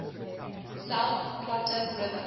south platte river